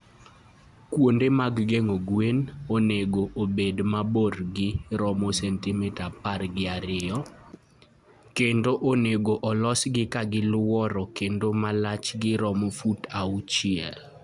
Kuonde mag geng'o gwen onego obed ma borgi romo sentimita apar gi ariyo, kendo onego olosgi ka gilworo kendo ma lachgi romo fut auchiel.